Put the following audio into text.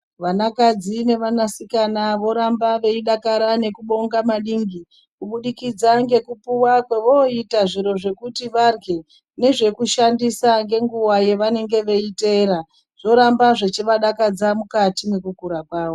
Vanakadzi nevanasikana voramba veidakara nekubonga maningi kubudikidza ngekupuwa kwovoita zviro zvekuti varye nezvekushandisa ngenguwa yavanenge veiteera zvoramba zvechivadakadza mukati mwekukura kwavo.